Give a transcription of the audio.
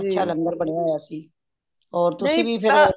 ਅੱਛਾ ਲੰਗਰ ਬਣਿਆ ਹੋਇਆ ਸੀ ਹੋਰ ਤੁਸੀ ਵੀ